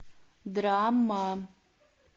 драма